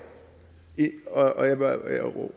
og jeg vil